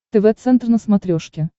тв центр на смотрешке